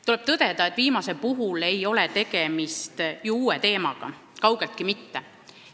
Tuleb tõdeda, et viimati mainitu ei ole ju uus teema, kaugeltki mitte.